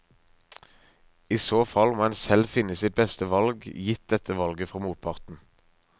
I så fall må en selv finne sitt beste valg gitt dette valget fra motparten.